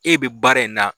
E bɛ baara in na